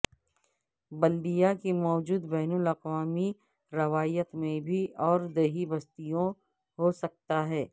بلدیہ کی موجودہ بین الاقوامی روایت میں بھی اور دیہی بستیوں ہو سکتا ہے